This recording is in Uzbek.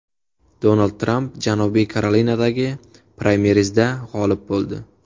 Donald Tramp Janubiy Karolinadagi praymerizda g‘olib bo‘ldi.